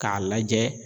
K'a lajɛ